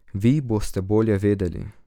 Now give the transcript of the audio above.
Vi boste bolje vedeli.